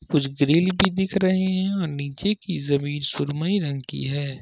कुछ ग्रिल भी दिख रहे हैं नीचे की जमीन सुरमई रंग की है।